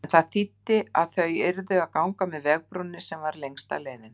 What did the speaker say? En það þýddi að þau yrðu að ganga með vegarbrúninni, sem var lengsta leiðin.